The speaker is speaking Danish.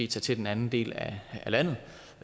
til den anden del af landet